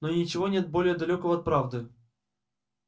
но ничего нет более далёкого от правды